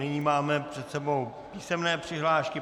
Nyní máme před sebou písemné přihlášky.